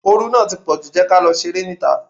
Oru náà ti pọ̀jù, jẹ́ kí á lọ ṣeré ní ìta.